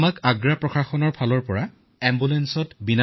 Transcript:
আগ্ৰাৰ চিকিৎসালয়ৰ পৰাই আমাক এম্বুলেন্স দিছিল